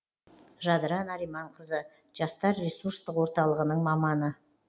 жадыра нариманқызы жастар ресурстық орталығының маманы